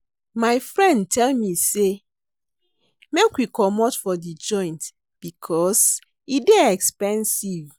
My friend tell me sey make we comot for di joint because e dey expensive.